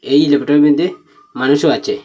এই ল্যাবোটারির মইধ্যে মানুষও আছে।